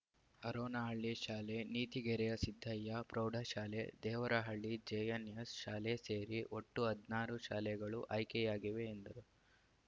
ಹರೋನಹಳ್ಳಿ ಶಾಲೆ ನೀತಿಗೆರೆಯ ಸಿದ್ದಯ್ಯ ಪ್ರೌಢಶಾಲೆ ದೇವರಹಳ್ಳಿ ಜೆಎನ್‌ಎಸ್‌ ಶಾಲೆ ಸೇರಿ ಒಟ್ಟು ಹದ್ ನಾರು ಶಾಲೆಗಳು ಆಯ್ಕೆಯಾಗಿವೆ ಎಂದರು